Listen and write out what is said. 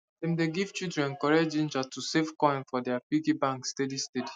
dem dey give children correct ginger to save coins for their piggy bank steady steady